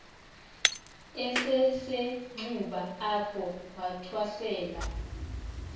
esisenxuba apho wathwasela